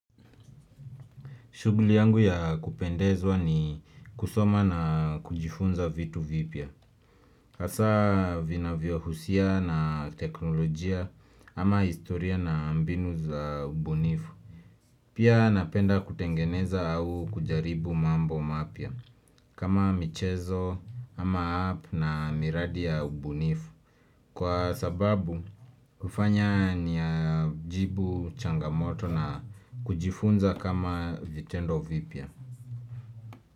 Shughuli yangu ya kupendezwa ni kusoma na kujifunza vitu vipya. Hasa vinavyohusia na teknolojia ama historia na mbinu za ubunifu. Pia napenda kutengeneza au kujaribu mambo mapya kama michezo ama app na miradi ya ubunifu. Kwa sababu hufanya ni ajibu changamoto na kujifunza kama vitendo vipya.